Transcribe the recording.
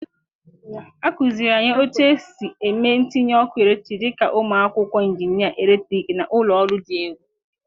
A kụziiri anyị otu esi eme ntinye ọkụ eletrik dị ka ụmụ akwụkwọ injinịa eletrik na ụlọ ọrụ dị elu.